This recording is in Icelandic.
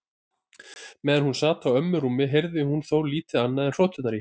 Meðan hún sat á ömmu rúmi heyrði hún þó lítið annað en hroturnar í henni.